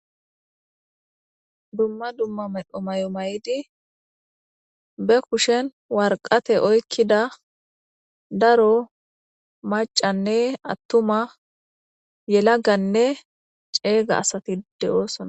Dumma dumma medho mayo mayidi be kushen waraqata oykida daro maccanne attuma yelaganne ceega asati de'osonna.